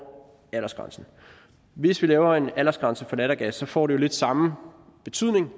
aldersgrænsen hvis vi laver en aldersgrænse for lattergas får det jo lidt samme betydning